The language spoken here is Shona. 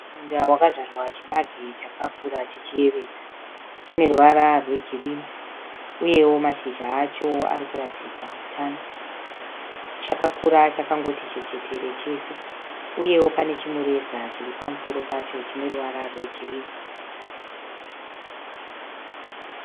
Munda wakadzvarwa chibage chakakura chichiyevedza. Chine ruvara rwegirini uyewo mashizha acho arikuratidza utano, chakakura chakangoti chechetere chese, uyewo pane chimureza chiri pamusoro pacho chine ruvara rwegirini.